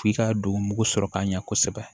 F'i ka don mugu sɔrɔ k'a ɲɛ kosɛbɛ